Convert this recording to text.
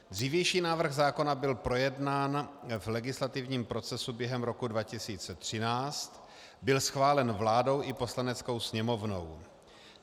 Dřívější návrh zákona byl projednán v legislativním procesu během roku 2013, byl schválen vládou i Poslaneckou sněmovnou.